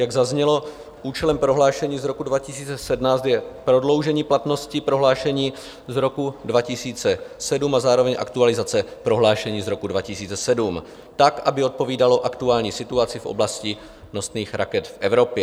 Jak zaznělo, účelem prohlášení z roku 2017 je prodloužení platnosti prohlášení z roku 2007 a zároveň aktualizace prohlášení z roku 2007 tak, aby odpovídalo aktuální situaci v oblasti nosných raket v Evropě.